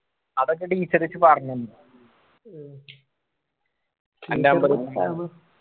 അതൊക്ക teacher ച്ച് പറഞ്ഞന്നു